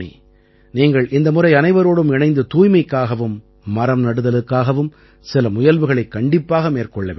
நீங்கள் இந்த முறை அனைவரோடும் இணைந்து தூய்மைக்காகவும் மரம்நடுதலுக்காகவும் சில முயல்வுகளைக் கண்டிப்பாக மேற்கொள்ள வேண்டும்